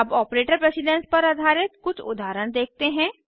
अब operator precedence पर आधारित कुछ उदाहरण देखते हैं